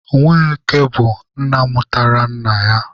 Nweke bụ nna mụtara nna ya.